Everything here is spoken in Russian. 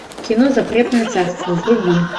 кино запретное царство вруби